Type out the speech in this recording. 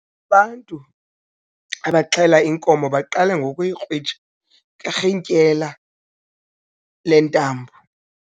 Ubantu abaxhele inkomo baqale ngokuyikrwitsha ngerhintyela lentambo.